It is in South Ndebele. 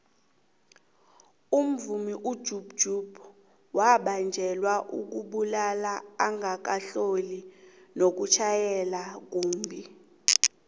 umvumi ujub jub wabanjelwa ukubulala angakahlosi nokutjhayela kumbhi